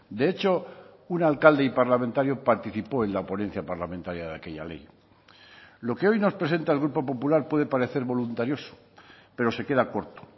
de hecho un alcalde y parlamentario participó en la ponencia parlamentaria de aquella ley lo que hoy nos presenta el grupo popular puede parecer voluntarioso pero se queda corto